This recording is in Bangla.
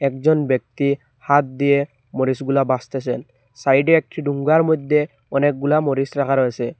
একজন ব্যক্তি হাত দিয়ে মরিচগুলা বাসতেসেন সাইডে একটি ডুঙ্গার মইধ্যে অনেকগুলা মরিচ রাখা রয়েসে ।